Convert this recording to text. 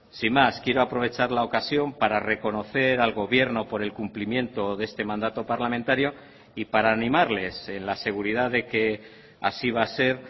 sin más quiero aprovechar la ocasión para reconocer al gobierno por el cumplimiento de este mandato parlamentario y para animarles en la seguridad de que así va a ser